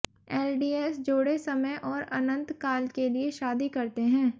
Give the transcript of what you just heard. LDS जोड़े समय और अनंत काल के लिए शादी करते हैं